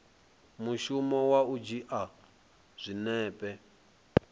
mushumo wa u dzhia zwinepe